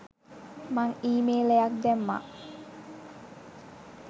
මං ඊමේලයක් දැම්මා.